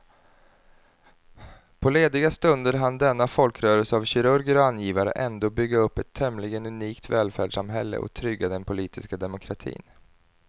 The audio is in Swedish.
På lediga stunder hann denna folkrörelse av kirurger och angivare ändå bygga upp ett tämligen unikt välfärdssamhälle och trygga den politiska demokratin.